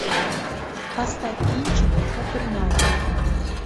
поставь кинчик капернаум